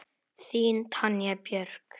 Þín, Tanja Björk.